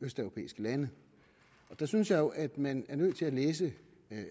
østeuropæiske lande der synes jeg jo at man er nødt til at læse